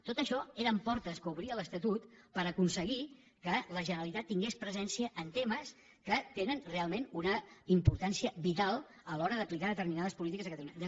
tot això eren portes que obria l’estatut per aconseguir que la generalitat tingués presència en temes que tenen realment una importància vital a l’hora d’aplicar determinades polítiques a catalunya